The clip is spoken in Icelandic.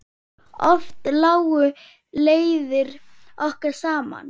Oft lágu leiðir okkar saman.